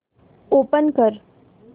open कर